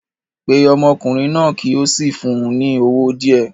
Pe ọmọkùnrin náà kí o sì fún un ní owó díẹ̀